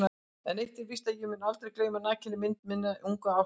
En eitt er víst að ég mun aldrei gleyma nakinni mynd minnar ungu ástvinu.